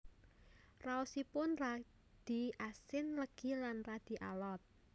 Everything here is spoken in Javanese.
Raosipun radi asin legi lan radi alot